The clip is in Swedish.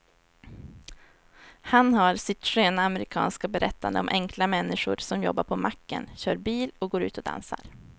Han har sitt sköna amerikanska berättande om enkla människor som jobbar på macken, kör bil och går ut och dansar.